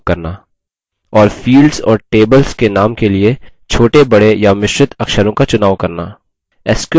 और fields और tables के नाम के लिए छोटेबड़े या मिश्रित अक्षरों का चुनाव करना